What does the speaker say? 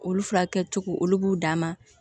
Olu furakɛli cogo olu b'u dan ma